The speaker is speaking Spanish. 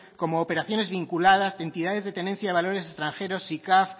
como operaciones vinculadas de entidades de tenencia de valores extranjeros sicav